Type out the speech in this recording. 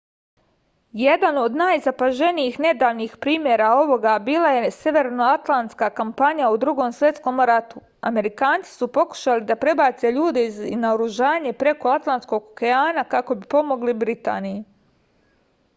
jedan od najzapaženijih nedavnih primera ovoga bila je severnoatlantska kampanja u drugom svetskom ratu amerikanci su pokušavali da prebace ljude i naoružanje preko atlantskog okeana kako bi pomogli britaniji